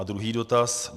A druhý dotaz.